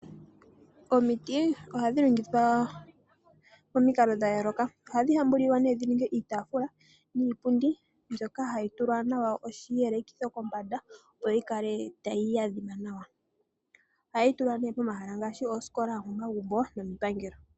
Omiti ohadhi longithwa pamikalo dha yoloka, ohadhi hambulilwa dhinige iitafula niipundi mboka hayi tulwa nawa oshiyelekitho kombanda opo yi kale tayi adhima nawa. Ohayi tulwa ne pomahala ngashi ooskola, omomagumbo nomiipangelo.